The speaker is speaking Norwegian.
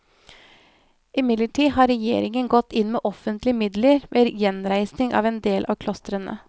Imidlertid har regjeringen gått inn med offentlige midler ved gjenreisningen av endel av klostrene.